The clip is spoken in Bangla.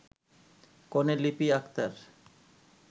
কনে লিপি আকতার